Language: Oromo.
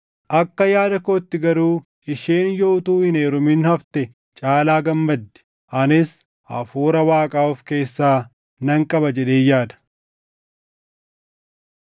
Akka yaada kootti garuu isheen yoo utuu hin heerumin hafte caalaa gammaddi; anis Hafuura Waaqaa of keessaa nan qaba jedheen yaada.